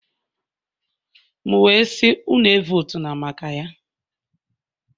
M wee sị, unu votu maka Ya.